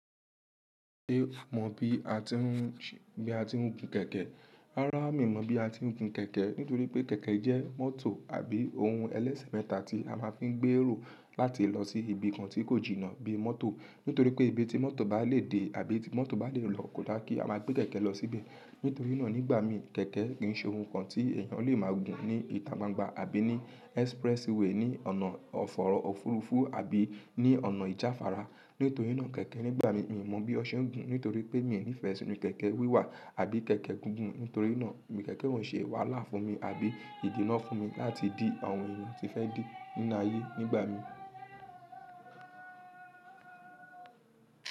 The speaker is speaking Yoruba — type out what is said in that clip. Ṣé a mọ bí a ti ń gun kẹ̀kẹ́? Rárá, mi ò mọ bí a ti ń gun kẹ̀kẹ́. Nítorí pé kẹ̀kẹ́ jẹ́ mọ́tò àbí ohun ẹlẹ́sẹ̀ mẹ́ta tí a máa ń fi ń gbé èrò láti lọ sí ibi kan tí kò jìnnà bí mọ́tò. Nítorí pé ibi tí mọ́tò bá lè dé àbí mọ́tò bá lè lọ kò dá kí a máa gbé kẹ̀kẹ́ lọ sí ibẹ̀. Nítorí náà nígbà mí, kẹ̀kẹ́ kì í ṣe oun kan tí èèyàn lè máa gùn ní ìta gbangba àbí ní expressway, ní ọ̀nà ọ̀fọ̀rọ̀ ọ̀furufú àbí ní ọ̀nà ìjàfára. Nítorí náà kẹ̀kẹ́ nígbà mí, mi ò mọ bí ọṣẹ ń gun, nítorí pé mi ò nífẹ̀ẹ́ sínú kẹ̀kẹ́ wíwà àbí kẹ̀kẹ́ gígùn. Nítorí náà, ibi kẹ̀kẹ́ wọ́n ò ṣe wàhálà fún mi àbí ìdí náà fún mi láti dì àwọn èèyàn tí fẹ́ dí níná ayé nígbà mi.